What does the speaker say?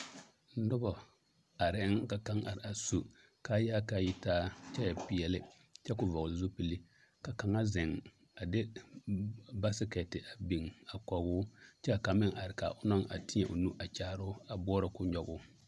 Noba areŋ ka kaŋ a are su kaayaa ka a yi taa kyɛ e peɛlle kyɛ ka o vɔgle zupili ka kaŋa zeŋ a de baasekɛte a biŋ a kɔge o kyɛ ka kaŋ meŋ are ka a o naŋ a teɛ o nu a kyaare o a boɔrɔ ka o nyɔge o.